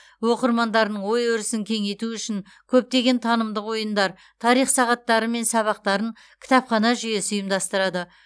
оқырмандарының ой өрісін кеңейту үшін көптеген танымдық ойындар тарих сағаттары мен сабақтарын кітапхана жүйесі ұйымдастырады